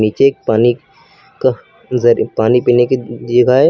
नीचे एक पानी का नजर एक पानी पीने की जगह है।